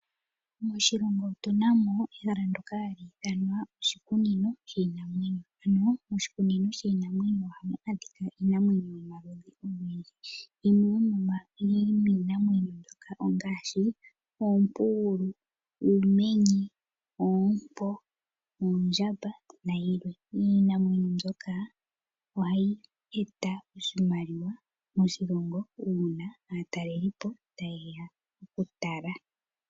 Moshilongo otuna ehala ndoka ahalu ithanwa oshikunino shiinamwenyo . Ano oshikunino shiinamwenyo ohamu adhika iinamwenyo yomaludhi ogendji. Yimwe yo miinamwenyo mbyoka ongaashi oompugulu, uumenye, oompo , oondjamba nayilwe . Iinamwenyo mbyoka ohayi eta oshimaliwa moshilongo una aatalelipo ta ye ya oku tala.